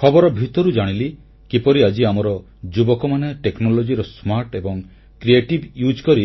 ଖବର ଭିତରୁ ଜାଣିଲି କିପରି ଆଜି ଆମର ଯୁବକମାନେ ଟେକ୍ନୋଲଜିର ସ୍ମାର୍ଟ ଏବଂ ସୃଜନାତ୍ମକ ଉପଯୋଗ କରି